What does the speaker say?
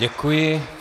Děkuji.